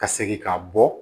Ka segin ka bɔ